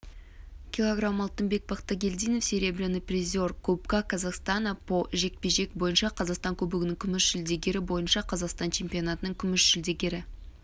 кг алтынбек бақтыгелдинов серебряный призер кубка казахстана по жж бойынша қазақстан кубогінің күміс жүлдегері бойынша қазақстан чемпионатының күміс жүлдегері